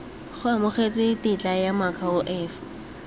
go amogetswe tetla ya moakhaefe